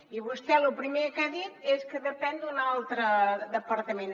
i vostè lo primer que ha dit és que depèn d’un altre departament